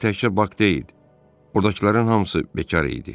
Ancaq təkcə bak deyil, oradakıların hamısı bekar idi.